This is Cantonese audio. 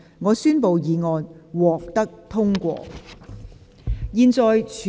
我宣布議案獲得通過。